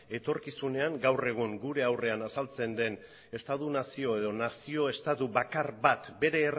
etorkizunean gaur egun gure aurrean azaltzen den estatu nazio edo nazio estatu bakar bat bere